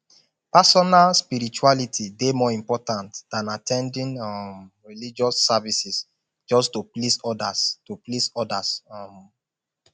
personal spirituality dey more important than at ten ding um religious services just to please odas to please odas um